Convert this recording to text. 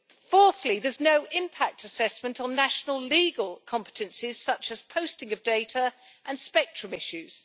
Fourthly, there is no impact assessment on national legal competences such as posting of data and spectrum issues.